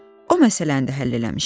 O məsələni də həll eləmişik.